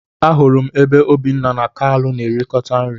Ahụrụ m ebe Obinna na kalu na erikota nri.